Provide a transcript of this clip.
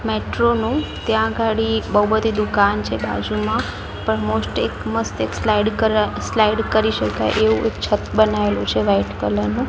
Metro નું ત્યાં ગાડી બહુ બધી દુકાન છે બાજુમાં પણ મોસ્ટ એક મસ્ત એક સ્લાઇડ કર સ્લાઈડ કરી શકાય એવું એક છત બનાવેલું છે વાઈટ કલર નું.